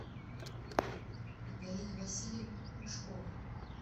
галина васильевна мышкова